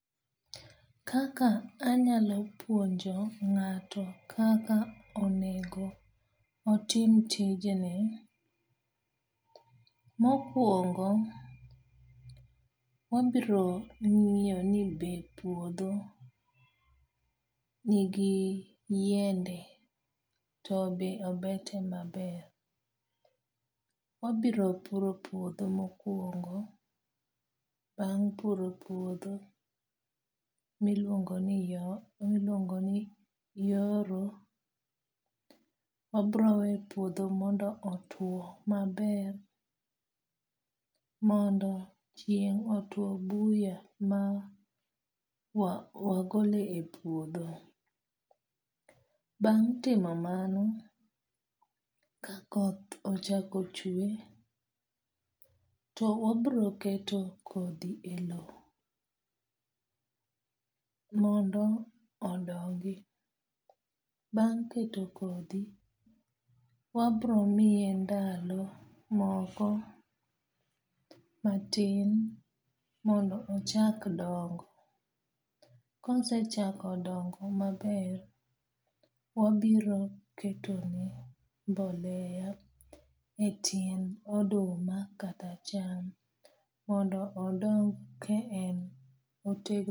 Kaka anyalo puonjo ng'ato kaka onego otim tijni, mokwongo wabiro ng'iyo ni be puodho nigi yiende to be obete maber? Wabiro puro puodho mokwongo. Bang' puro puodho miluongo ni yoro. Wabiro we puodho mondo otuo maber, mondo chieng' otuo buya ma wagolo e puodho. Bang' timo mano, ka koth ochako chwe to wabiro keto kodhi e low mondo odongi. Bang' keto kodhi, wabiro miye ndalo moko matin mondo ochak dongo. Kosechako dongo maber, wabiro keto ne mboleya e tiend oduma kata cham mondo odong ka en otegno